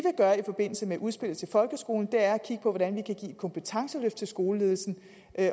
gøre i forbindelse med udspillet til folkeskolen er at kigge på hvordan vi kan give et kompetenceløft til skoleledelsen